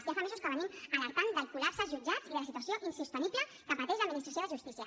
ja fa mesos que venim alertant del col·lapse als jutjats i de la situació insostenible que pateix l’administració de justícia